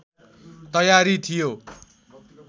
तयारी थियो